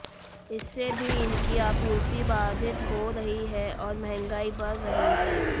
इससे भी इनकी आपूर्ति बाधित हो रही है और महंगाई बढ़ रही है